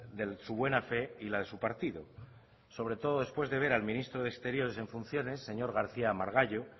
de su buena fe y la de su partido sobre todo después de ver al ministro de exteriores en funciones señor garcía margallo